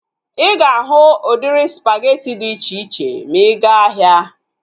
Ịga ahu udiri spageti dị iche iche ma ịga ahia